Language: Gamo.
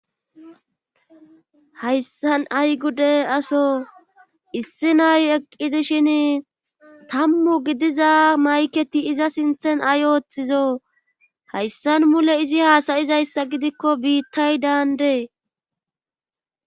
Hayssan ay gude asoo issi nay eqqi dishin tammu gidiza mayketi iza sinthen ay ooththizo hayssan mule izi haasayizayssa gidikko biittay daandee.